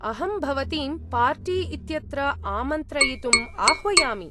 अहं भवतीं पार्टी इत्यत्र आमन्त्रयितुम् आह्वयामि।